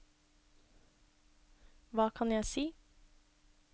hva kan jeg si